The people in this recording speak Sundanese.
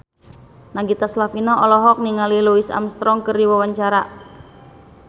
Nagita Slavina olohok ningali Louis Armstrong keur diwawancara